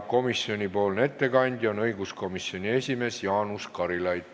Komisjoni ettekandja on õiguskomisjoni esimees Jaanus Karilaid.